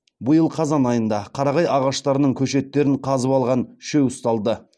биыл қазан айында қарағай ағаштарының көшеттерін қазып алған үшеу ұсталды